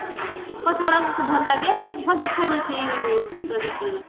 କଥାଗୁରା ବହୁତ ଭଲ ଲାଗେ ଭଲ ଦେଖା ଯାଏ ସେଇ ଚଳଚିତ୍ର ରେ